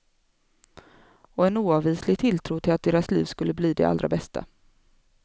Och en oavvislig tilltro till att deras liv skulle bli de allra bästa.